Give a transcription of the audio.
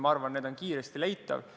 Ma arvan, need on kiiresti leitavad.